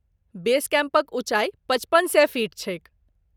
बेस कैम्पक ऊँचाई पचपन सए फीट छैक।